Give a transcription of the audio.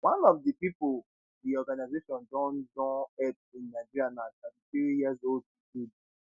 one of di pipo di organisation don don help in nigeria na 33yearold jude